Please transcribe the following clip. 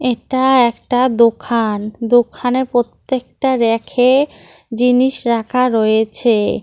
এটা একটা দোখান দোখানের প্রত্যেকটা ব়্যাকে জিনিস রাখা রয়েছে।